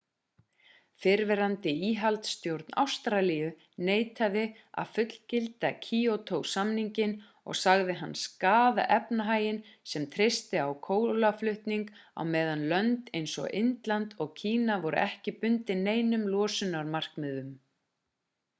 fyrrverandi íhaldsstjórn ástralíu neitaði að fullgilda kýótó-samninginn og sagði hann skaða efnahaginn sem treysti á kolaútflutning á meðan lönd eins og indland og kína voru ekki bundin neinum losunarmarkmiðum